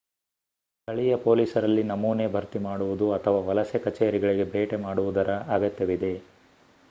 ಸ್ಥಳೀಯ ಪೊಲೀಸರಲ್ಲಿ ನಮೂನೆ ಭರ್ತಿ ಮಾಡುವುದು ಅಥವಾ ವಲಸೆ ಕಚೇರಿಗಳಿಗೆ ಭೇಟಿ ಮಾಡುವುದರ ಅಗತ್ಯವಿವೆ